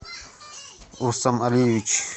урсам алиевич